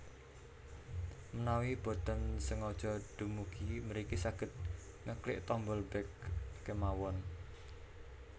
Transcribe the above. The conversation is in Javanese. Mnawi boten sengaja dumugi mriki saged ngeklik tombol back kémawon